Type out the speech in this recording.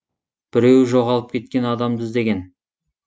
біреуі жоғалып кеткен адамды іздеген